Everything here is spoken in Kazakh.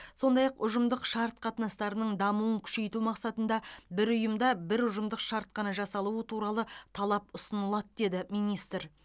сондай ақ ұжымдық шарт қатынастарының дамуын күшейту мақсатында бір ұйымда бір ұжымдық шарт қана жасалуы туралы талап ұсынылады деді министр